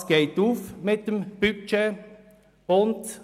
Das geht mit dem Budget auf.